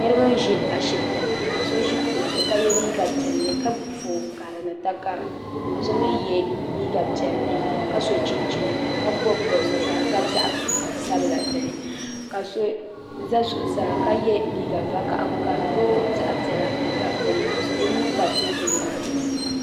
Niriba n ʒi ashipti ni ka so ʒi kuɣu zuɣu ka ye liiga piɛlli ka gbibi fooni karili ni takara ka so mi ye liiga piɛlli ka so chinchini ka bobi bobiga ka di gabi zaɣa sabla dinni ka so za zuɣusaa ka ye liiga vakahagu ka di boogi zaɣa piɛla n gabi dinni ka o nuu pa teebuli maa zuɣu.